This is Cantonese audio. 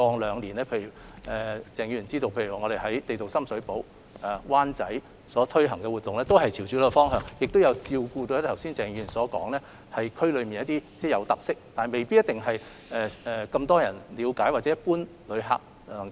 也許鄭議員也知道，我們過往兩年在深水埗、灣仔推行的旅遊相關活動均朝着這個方向走，也有照顧到剛才鄭議員所提到，區內雖有固有的特色，但未必為大眾所了解或一般旅客所發現的情況。